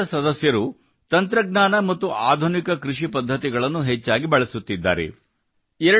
ಈ ತಂಡದ ಸದಸ್ಯರು ತಂತ್ರಜ್ಞಾನ ಮತ್ತು ಆಧುನಿಕ ಕೃಷಿ ಪದ್ಧತಿಗಳನ್ನು ಹೆಚ್ಚಾಗಿ ಬಳಸುತ್ತಿದ್ದಾರೆ